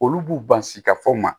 Olu b'u bansikafo ma